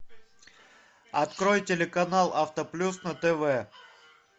открой телеканал автоплюс на тв